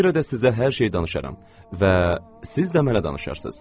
Buna görə də sizə hər şeyi danışaram və siz də mənə danışarsız.